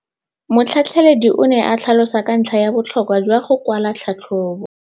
Motlhatlheledi o ne a tlhalosa ka ntlha ya botlhokwa jwa go kwala tlhatlhôbô.